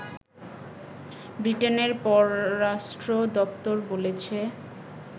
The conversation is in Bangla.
ব্রিটেনের পররাষ্ট্র দপ্তর বলেছে